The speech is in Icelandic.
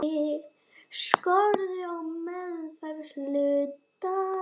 Skorður á meðferð hluta.